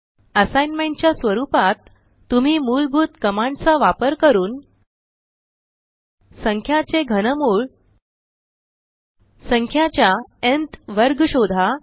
Assignmentच्या स्वरुपात तुम्ही मूलभूत कमांड चा वापर करून संख्याचे घनमूळ संख्याच्या न्थ वर्ग शोधा